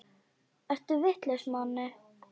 Ertu vitlaus Manni!